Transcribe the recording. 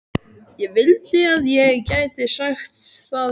Ég vildi að ég gæti sagt það sama.